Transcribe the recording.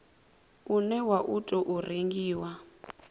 une wa u tou rengiwa